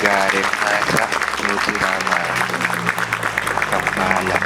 Gaaren mata nyotirama kampala.